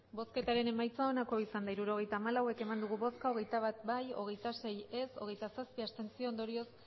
hirurogeita hamalau eman dugu bozka hogeita bat bai hogeita sei ez hogeita zazpi abstentzio ondorioz